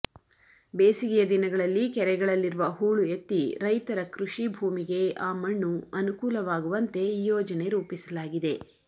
ಬೇಸಿಗೆಯ ದಿನಗಳಲ್ಲಿ ಕೆರೆಗಳಲ್ಲಿರುವ ಹೂಳು ಎತ್ತಿ ರೈತರ ಕೃಷಿ ಭೂಮಿಗೆ ಆ ಮಣ್ಣು ಅನುಕೂಲವಾಗುವಂತೆ ಈ ಯೋಜನೆ ರೂಪಿಸಲಾಗಿದೆ